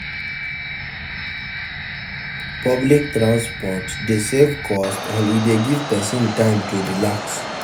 Pubic transport de save cost and e de give persin time to relax